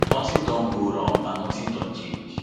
nothing don go wrong and nothing don change